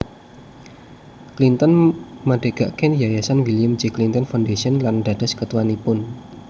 Clinton madegaken yayasan William J Clinton Foundation lan dados ketuanipun